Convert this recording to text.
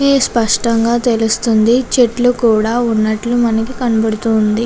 ఇక్కడ శాస్త్నగా తలుస్తుంది ఉన్న్నది చెట్లు కూడా వునటు మనకి కనపడుతుంది.